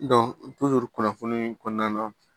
kunnafoni kɔnɔna na